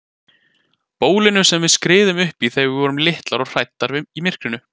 Bólinu sem við skriðum uppí þegar við vorum litlar og hræddar í myrkrinu.